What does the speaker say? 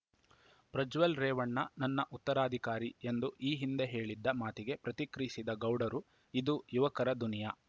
ಪ್ರಜ್ವಲ್‌ ರೇವಣ್ಣ ನನ್ನ ಉತ್ತರಾಧಿಕಾರಿ ಎಂದು ಈ ಹಿಂದೆ ಹೇಳಿದ್ದ ಮಾತಿಗೆ ಪ್ರತಿಕ್ರಿಯಿಸಿದ ಗೌಡರು ಇದು ಯುವಕರ ದುನಿಯಾ